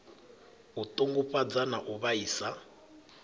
a ṱungufhadza na u vhaisa